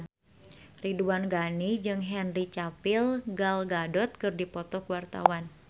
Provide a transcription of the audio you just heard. Ridwan Ghani jeung Henry Cavill Gal Gadot keur dipoto ku wartawan